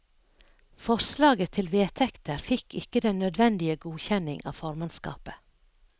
Forslaget til vedtekter fikk ikke den nødvendige godkjenning av formannskapet.